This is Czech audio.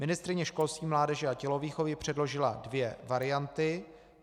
Ministryně školství, mládeže a tělovýchovy předložila dvě varianty.